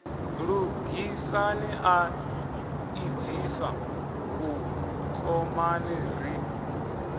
lugisani a ḓibvisa vhukomani ri